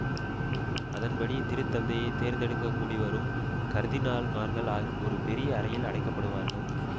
அதன்படி திரு தந்தையை தேர்ந்தெடுக்கக் கூடிவரும் கர்தினால்மார்கள் அற் ஒரு பெரிய அறையில் அடைக்கப்படுவார்கள்